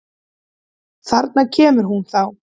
Þarna kemur hún þá!